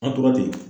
An tora ten